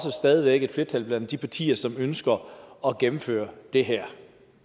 er stadig væk et flertal blandt de partier som ønsker at gennemføre det her